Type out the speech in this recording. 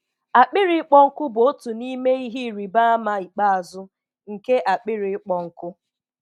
Akpịrị ịkpọ nkụ bụ otu n'ime ihe ịrịba ama ikpeazụ nke akpịrị ịkpọ nkụ.